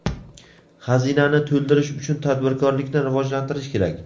Xazinani to‘ldirish uchun tadbirkorlikni rivojlantirish kerak.